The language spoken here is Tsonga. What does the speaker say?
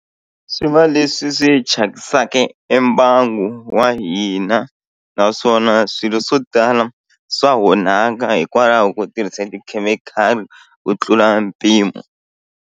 Swi va leswi swi thyakisaka e mbangu wa hina naswona swilo swo tala swa onhaka hikwalaho ko tirhisa tikhemikhali ku tlula mpimo.